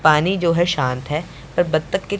पानी जो है शांत है और बत्तख की--